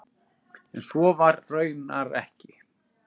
En svo var raunar ekki.